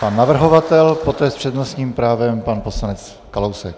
Pan navrhovatel, poté s přednostním právem pan poslanec Kalousek.